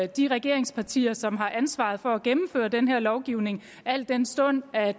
de regeringspartier som har ansvaret for at gennemføre den her lovgivning al den stund at